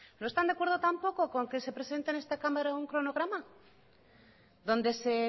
no están de acuerdo tampoco con que se presente en esta cámara un cronograma donde se